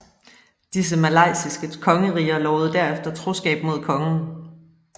Disse malaysiske kongeriger lovede derefter troskab mod kongen